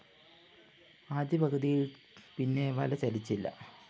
ആദ്യ പകുതിയില്‍ പിന്നെ വല ചലിച്ചില്ല